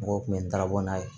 Mɔgɔw tun bɛ n dalabɔ n'a ye